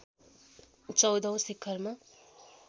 १४ औं शिखरमा